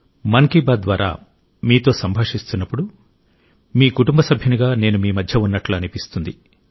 మన్ కీ బాత్ ద్వారా మీతో సంభాషిస్తున్నప్పుడు మీ కుటుంబ సభ్యునిగా నేను మీ మధ్య ఉన్నట్లు అనిపిస్తుంది